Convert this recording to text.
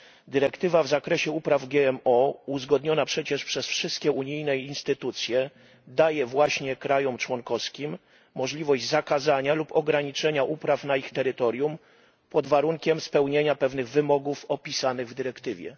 Dyrektywa dotycząca upraw GMO, uzgodniona przecież przez wszystkie unijne instytucje, daje właśnie państwom członkowskim możliwość zakazania lub ograniczenia upraw na ich terytorium pod warunkiem spełnienia pewnych wymogów opisanych w dyrektywie.